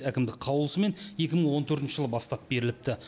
әкімдік қаулысымен екі мың он төртінші жылы бастап беріліпті